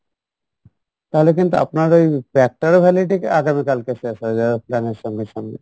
তাহলে কিন্তু আপনার ওই pack টারও validity আগামীকালকে শেষ হয়ে যাবে plan এর সঙ্গে সঙ্গে